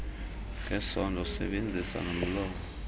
ngesondo usebenzisa nomlomo